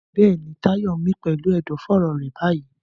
Bẹ́ẹ̀ni, Tayo ń mí pẹ̀lú ẹ̀dọ̀fóró rẹ̀ báyìí.